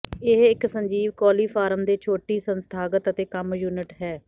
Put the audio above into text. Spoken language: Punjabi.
ਇਹ ਇੱਕ ਸਜੀਵ ਕੋਲੀਫਾਰਮ ਦੇ ਛੋਟੀ ਸੰਸਥਾਗਤ ਅਤੇ ਕੰਮ ਯੂਨਿਟ ਹੈ